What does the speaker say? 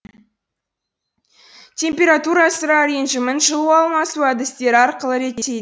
температура сыра режімін жылу алмасу әдістері арқылы реттейді